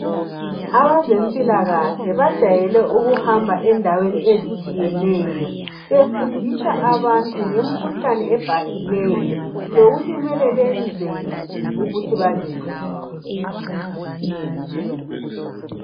Abezempilakahle bajayele ukuhamba endaweni ezitshiyeneyo befundisa abantu ngemkhuhlane ebhahileyo lokuthi kumele benzeni ukuthi bazivikele.